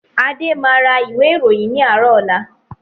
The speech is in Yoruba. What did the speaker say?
Adé máa ra ìwé ìròyìn ni àárọ̀ ọ̀la.